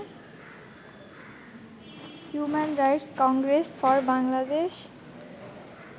human rights congress for Bangladesh